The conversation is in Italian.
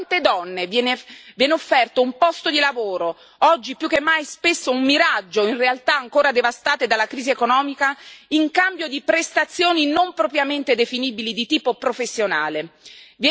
E a quante donne viene offerto un posto di lavoro, oggi più che mai spesso un miraggio in realtà ancora devastate dalla crisi economica, in cambio di prestazioni non propriamente definibili di tipo professionale?